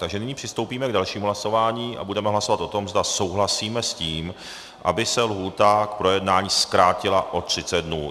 Takže nyní přistoupíme k dalšímu hlasování a budeme hlasovat o tom, zda souhlasíme s tím, aby se lhůta k projednání zkrátila o 30 dnů.